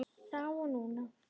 Þá og núna.